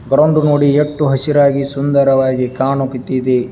Ground ನೋಡಿ ಎಷ್ಟು ಹಸಿರಾಗಿ ಸುಂದರವಾಗಿ ಕಾಣುಕ್ಕತ್ತಿದೆ.